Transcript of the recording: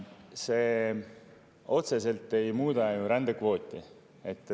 See otseselt ei muuda ju rändekvooti.